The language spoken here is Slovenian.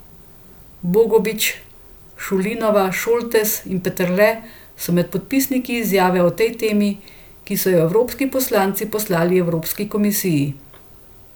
Bogovič, Šulinova, Šoltes in Peterle so med podpisniki izjave o tej temi, ki so jo evropski poslanci poslali Evropski komisiji.